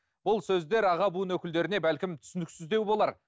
бұл сөздер аға буын өкілдеріне бәлкім түсініксіздеу болар